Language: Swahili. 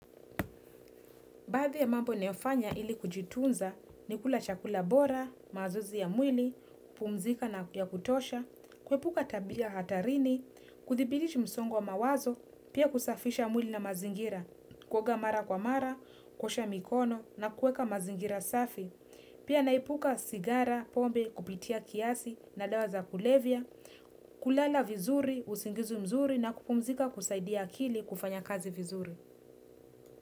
Baadhi ya mambo ninayofanya ili kujitunza ni kula chakula bora, mazoezi ya mwili, kupumzika vya kutosha, kuepuka tabia hatarini, kuthibiti msongo wa mawazo, pia kusafisha mwili na mazingira, kuoga mara kwa mara, kuosha mikono na kueka mazingira safi. Pia naepuka sigara, pombe kupita kiasi na dawa za kulevya, kulala vizuri, usingizi mzuri na kupumzika kusaidia akili kufanya kazi vizuri.